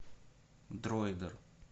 дроидер